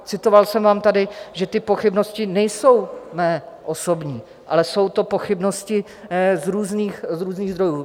Citoval jsem vám tady, že ty pochybnosti nejsou mé osobní, ale jsou to pochybnosti z různých zdrojů.